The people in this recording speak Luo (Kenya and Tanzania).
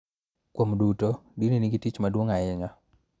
Kuom duto, dini nigi tich maduong� ahinya.